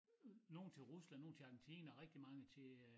Nogen til Rusland nogen til Argentina rigtig mange til øh